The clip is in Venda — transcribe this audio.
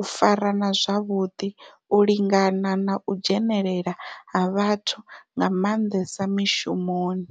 u farana zwavhudi, u lingana na u dzhenelela ha vhathu nga mandesa mishumoni.